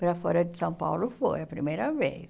Para fora de São Paulo foi a primeira vez.